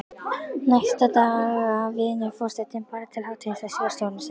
Næstu daga vinnur forsetinn bara til hádegis á skrifstofunni sinni.